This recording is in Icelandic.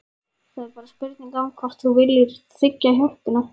Það er bara spurning um hvort þú viljir þiggja hjálpina.